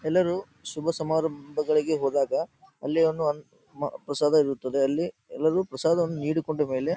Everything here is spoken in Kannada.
ಎಲ್ಲರೂ ಶುಭ ಸಮಾರಂಭಗಳಿಗೆ ಹೋದಾಗ ಅಲ್ಲಿ ಒಂದು ಪ್ರಸಾದ ಇರುತ್ತ್ತದೆ ಅಲ್ಲಿ ಪ್ರಸಾದವನ್ನು ನೀಡಿಕೊಂಡ ಮೇಲೆ --